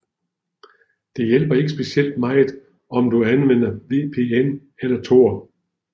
Det hjælper ikke specielt meget om du anvender VPN eller tor